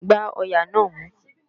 Gbá ọ̀yà náà mú!